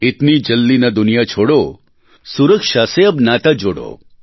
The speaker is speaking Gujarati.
ઇતની જલ્દી ન દુનિયા છોડો સુરક્ષા સે અબ નાતા જોડો